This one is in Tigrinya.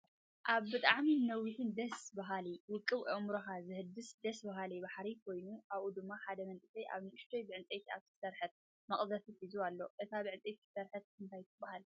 ኣብ ብጣዕሚ ነዊሕን ደስ ብሃል ውቅብ ኣእምሮካ ዘሕድስ ደስ ብሃሊ ባሕሪ ኮይኑ ኣብኡ ድማ ሓደ መንእሰይ ኣብ ንእሽተይ ብዕንጨይቲ ኣብ ዝተሰረሐት መቅዘፊ ሒዙ ኣሎ። እታ ብዕንጨይቲ ዝተሰረሐት እንታይ ትብሃል?